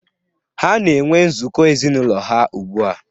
Ha na-enwe nzukọ ezinụlọ ha ugbu a